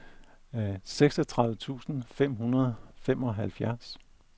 seksogtredive tusind fem hundrede og femoghalvfjerds